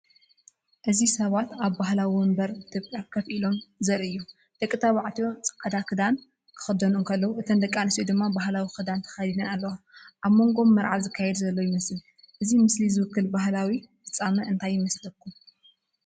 እዚ ሰባት ኣብ ባህላዊ መንበር ኢትዮጵያ ኮፍ ኢሎም ዘርኢ እዩ። ደቂ ተባዕትዮ ጻዕዳን ክዳን ክኽደኑ እንከለዉ፡ እተን ደቂ ኣንስትዮ ድማ ባህላዊ ክዳን ተኸዲነን ኣለዋ። ኣብ መንጎኦም መርዓ ዝካየድ ዘሎ ይመስል። እዚ ምስሊ ዝውክል ባህላዊ ፍጻመ እንታይ ይመስለኩም?